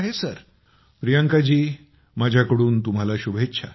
मोदी जीः प्रियंका माझ्याकडून तुम्हाला शुभेच्छा